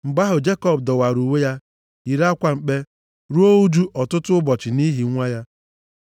Mgbe ahụ, Jekọb dọwara uwe ya, yiri akwa mkpe, ruo ụjụ ọtụtụ ụbọchị nʼihi nwa ya.